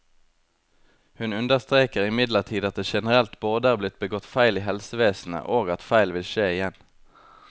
Hun understreker imidlertid at det generelt både er blitt begått feil i helsevesenet, og at feil vil skje igjen.